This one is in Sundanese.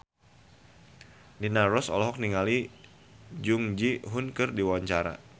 Rina Nose olohok ningali Jung Ji Hoon keur diwawancara